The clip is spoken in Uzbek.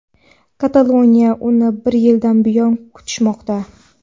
Kataloniyada uni bir yildan buyon kutishmoqda.